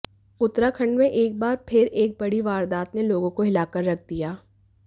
उत्तराखंड में एक बार फिर एक बड़ी वारदात ने लोगों को हिला कर ऱख दिया